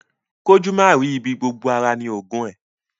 Kójú máa rì í ibi, gbogbo ara ni oògùn ẹ.